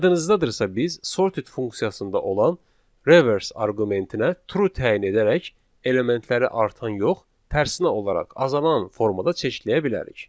Yadınızdadırsa biz sorted funksiyasında olan reverse arqumentinə true təyin edərək elementləri artan yox, tərsinə olaraq azalan formada çeşidləyə bilərik.